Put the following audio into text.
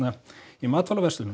í